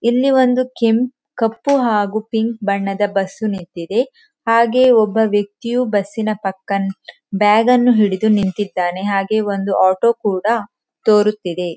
ಇಲ್ಲಿ ಒಂದು ಕೆಂಪು ಕಪ್ಪು ಹಾಗು ಪಿಂಕ್ ಬಣ್ಣದ ಬಸ್ಸು ನಿಂತಿದೆ ಹಾಗೆ ಒಬ್ಬ ವ್ಯಕ್ತಿಯು ಬಸ್ಸಿನ ಪಕ್ಕ ಬ್ಯಾಗನ್ನು ಹಿಡಿದು ನಿಂತಿದ್ದಾನೆ ಹಾಗೆ ಒಂದು ಆಟೋ ಕೂಡಾ ತೋರುತ್ತಿದೆ.